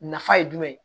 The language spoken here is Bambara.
Nafa ye jumɛn ye